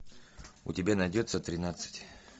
у тебя найдется тринадцать